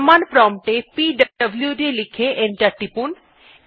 command prompt এ পিডব্লুড লিখে এন্টার টিপুন